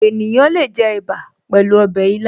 Ènìyàn le è jẹ ẹ̀bà pẹ̀lú ọbẹ̀ ilá